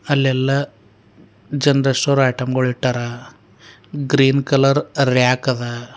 ಅಲ್ಲೆಲ್ಲಾ general store item ಗಳಿಟ್ಟಾರ green colour rack ಅದ.